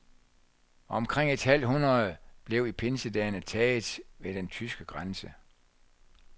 Omkring et halvt hundrede blev i pinsedagene taget ved den tyske grænse.